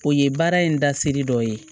O ye baara in dasiri dɔ ye